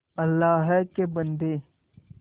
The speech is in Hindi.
अल्लाह के बन्दे